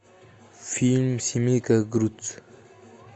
фильм семейка крудс